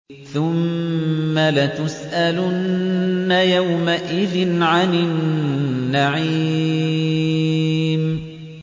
ثُمَّ لَتُسْأَلُنَّ يَوْمَئِذٍ عَنِ النَّعِيمِ